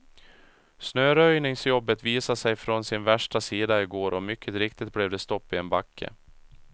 Snöröjningsjobbet visade sig från sin värsta sida igår och mycket riktigt blev det stopp i en backe.